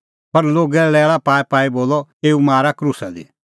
पर लोगै लैल़ा पाईपाई बोलअ एऊ मारा क्रूसा दी